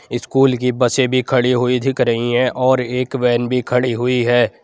School की बसें भी खड़ी हुई दिख रही हैं और एक वैन भी खड़ी हुई है।